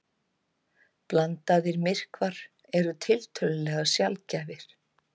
Blandaðir myrkvar eru tiltölulega sjaldgæfir.